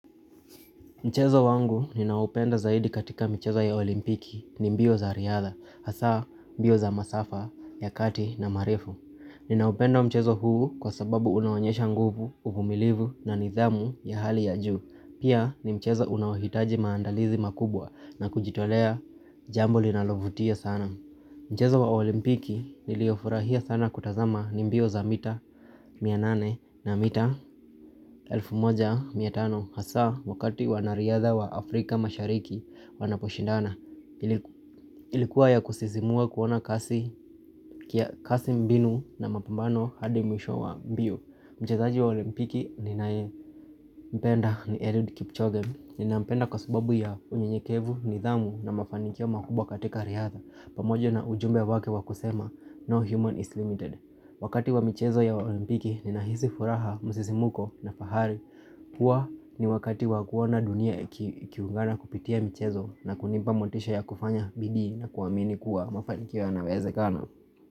Mchezo wangu ninaoupenda zaidi katika michezo ya olimpiki ni mbio za riadha, hasa mbio za masafa ya kati na marefu. Ninaupenda mchezo huu kwa sababu unaonyesha nguvu, uvumilivu na nidhamu ya hali ya juu. Pia ni mchezo unaohitaji maandalizi makubwa na kujitolea jambo linalovutia sana. Mchezo wa olimpiki niliofurahia sana kutazama ni mbio za mita mia nane na mita elfu moja mia tano hasa wakati wanariadha wa Afrika mashariki wanaposhindana ilikuwa ya kusisimua kuona kasi kia kasi mbinu na mapambano hadi mwisho wa mbio. Mchezaji wa olimpiki ninaye mpenda ni Eliud kipchoge Ninampenda kwa subabu ya unyenyekevu, nidhamu na mafanikio makubwa katika riadha Pamojo na ujumbe wake wa kusema no human is limited Wakati wa michezo ya olimpiki ninahisi furaha musisimuko na fahari Huwa ni wakati wa kuona dunia ikiungana kupitia michezo na kunimpa motisha ya kufanya bidii na kuamini kuwa mafanikio yanawezekana.